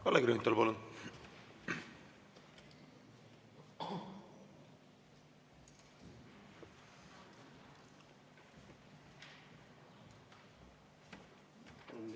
Kalle Grünthal, palun!